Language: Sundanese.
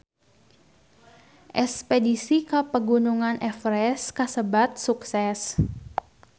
Espedisi ka Pegunungan Everest kasebat sukses